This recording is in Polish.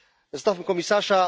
Zostawmy komisarza.